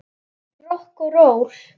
Rokk og ról!